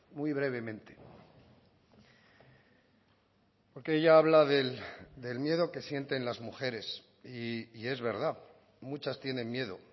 muy brevemente porque ella habla del miedo que sienten las mujeres y es verdad muchas tienen miedo